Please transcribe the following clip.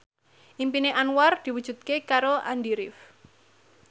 impine Anwar diwujudke karo Andy rif